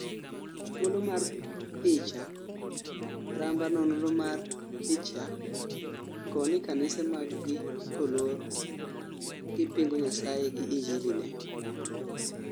thuolo mar picha ,ramba nonro mar picha, koni kanise mag gi kolor,''gi pingo nyasaye gi injili ne